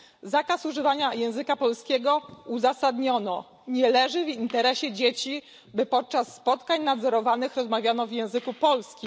Zakaz używania języka polskiego uzasadniono tak nie leży w interesie dzieci, by podczas spotkań nadzorowanych rozmawiano w języku polskim.